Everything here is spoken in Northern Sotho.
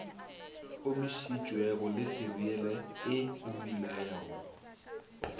omišitšwego le seriele e omilego